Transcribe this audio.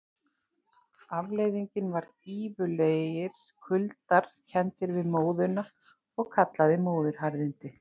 Afleiðingin var gífurlegir kuldar, kenndir við móðuna og kallaðir móðuharðindi.